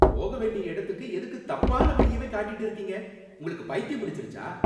போக வேண்டிய இடத்துக்கு எதுக்கு தப்பான வழியவே காட்டிட்டு இருக்கீங்க. உங்களுக்கு பைத்தியம் பிடிச்சிருச்சா?